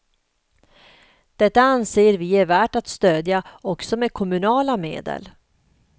Detta anser vi är värt att stödja också med kommunala medel.